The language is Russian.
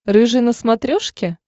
рыжий на смотрешке